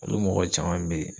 Olu mɔgɔ caman be te